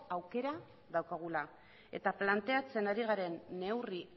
aukera daukagula eta planteatzen ari garen neurri